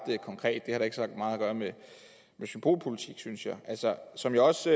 konkret det har da ikke så meget at gøre med symbolpolitik synes jeg som jeg også